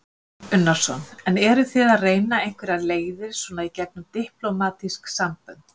Kristján Már Unnarsson: En eruð þið að reyna einhverjar leiðir svona í gegnum diplómatísk sambönd?